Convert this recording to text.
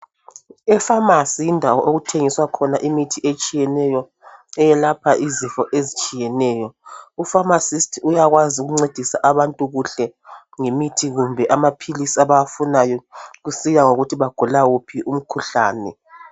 Efamasi yindawo okuthengiswa khona imithi etshiyeneyo eyelapha izifo ezitshiyeneyo. U pharmacist uyakwazi ukuncedisa abantu kuhle ngemithi kumbe amaphilisi abawafunayo kusiya ngokuthi bagula wuphi umkhuhlane